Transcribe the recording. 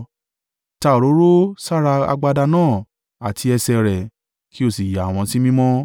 Ta òróró sára agbada náà àti ẹsẹ̀ rẹ, kí o sì yà wọ́n sí mímọ́.